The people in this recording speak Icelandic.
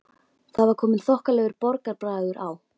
Það var kominn þokkalegur borgarbragur á